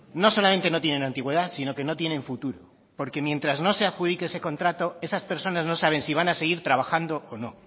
no solamente no tienen antigüedad sino que no tienen futuro porque mientras no se adjudique porque mientras no se adjudique ese contrato esas personas no saben si van a seguir trabajando o no